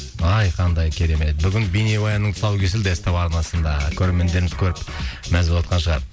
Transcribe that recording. ай қандай керемет бүгін бейнебаянның тұсауы кесілді ств арнасында көрермендеріміз көріп мәз болыватқан шығар